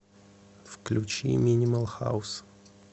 включи минимал хаус